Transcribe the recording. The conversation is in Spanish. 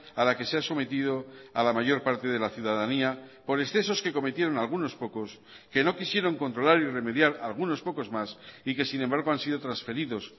a la que se ha sometido a la mayor parte de la ciudadanía por excesos que cometieron algunos pocos que no quisieron controlar y remediar algunos pocos más y que sin embargo han sido transferidos